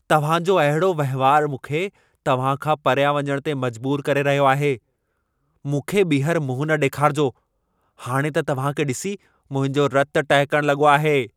तव्हां जो अहिड़ो वहिंवारु मूंखे तव्हां खां परियां वञण ते मजबूरु करे रहियो आहे। मूंखे ॿीहर मुंहुं न ॾेखारिजो! हाणि त तव्हां खे ॾिसी, मुंहिंजो रतु टहिकण लॻो आहे।